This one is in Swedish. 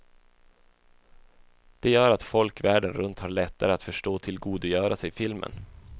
Det gör att folk världen runt har lättare att förstå och tillgodogöra sig filmen.